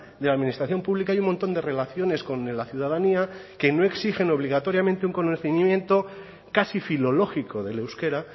de la administración pública hay un montón de relaciones con la ciudadanía que no exigen obligatoriamente un conocimiento casi filológico del euskera